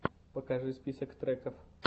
покажи список треков